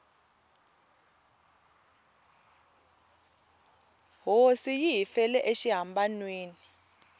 hosi yi hi fele exihambanweni